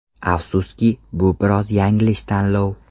Afsuski, bu biroz yanglish tanlov.